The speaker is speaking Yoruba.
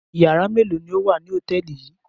Ìyàrá mélòó ni ó wà ní hòtẹ́ẹ́lì yìí?